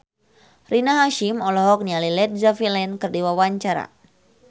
Rina Hasyim olohok ningali Led Zeppelin keur diwawancara